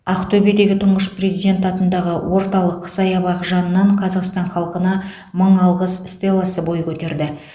ақтөбедегі тұңғыш президент атындағы орталық саябақ жанынан қазақстан халқына мың алғыс стелласы бой көтерді